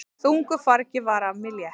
Þungu fargi var af mér létt!